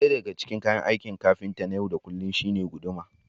ɗaya daga cikin kayan aikin kafinta na yau da kullum shine guduma